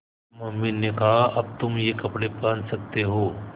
mummy ने कहा अब तुम ये कपड़े पहन सकते हो